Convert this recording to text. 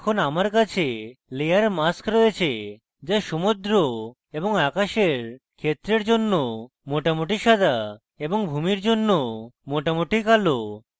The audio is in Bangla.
এখন আমার কাছে layer mask রয়েছে যা সমুদ্র এবং আকাশের ক্ষেত্রের জন্য মোটামুটি সাদা এবং ভূমির জন্য মোটামুটি কালো